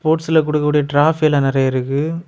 ஸ்போர்ட்ஸ்ல குடுக்க கூடிய ட்ராஃபி எல்லா நெறய இருக்கு.